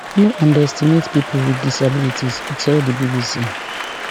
no underestimate pipo wit disabilities e tell di bbc